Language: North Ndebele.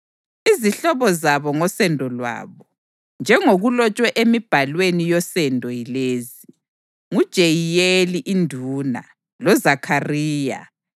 Izihlobo zabo ngosendo lwabo, njengokulotshwe emibhalweni yosendo yilezi: nguJeyiyeli induna, loZakhariya, kanye